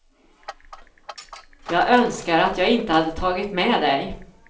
Jag önskar att jag inte hade tagit med dig.